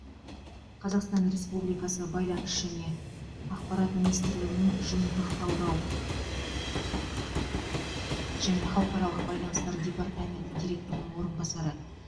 қазақстан республикасы байланыс және ақпарат министрлігінің жиынтық талдау және халықаралық байланыстар департаменті директорының орынбасары